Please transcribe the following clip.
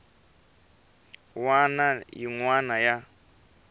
wana ni yin wana ya